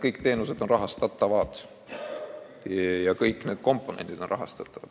Kõik need teenused on rahastatavad ja kõik need komponendid on rahastatavad.